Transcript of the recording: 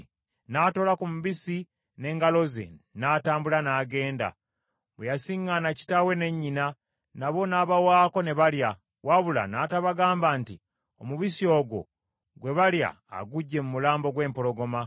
N’atoola ku mubisi n’engalo ze, n’atambula n’agenda. Bwe yasiŋŋaana kitaawe ne nnyina nabo n’abawaako ne balya, wabula n’atabagamba nti omubisi ogwo gwe balya aguggye mu mulambo gw’empologoma.